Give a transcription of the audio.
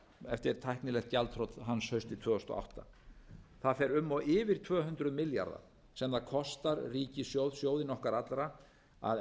eftir tæknilegt gjaldþrot hans haustið tvö þúsund og átta það fer um og yfir tvö hundruð milljarða sem það kostar ríkissjóð sjóðinn okkar allra að